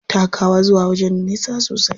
Takawa zuwa wajen da nisa sosai.